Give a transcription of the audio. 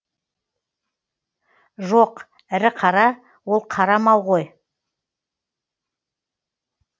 жоқ ірі қара ол қара мал ғой